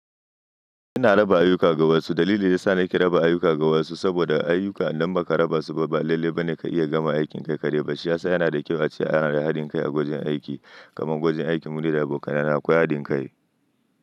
Ina raba ayuka ga wasu. Dalili yasa nake raba ayuka ga wasu saboda ayuka idan ba ka raba su ba, ba lalle ba ne ka iya gama aikin kai ka dai ba. Shi ya sa yana da kyau a ce ana da haɗin kai a wajen aiki. Kaman gwajin aikin mu da da abokanai na akwai haɗin kai.